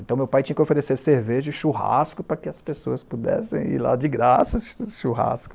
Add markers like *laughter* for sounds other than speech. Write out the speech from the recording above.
Então meu pai tinha que oferecer cerveja e churrasco para que as pessoas pudessem ir lá de graça *unintelligible* churrasco.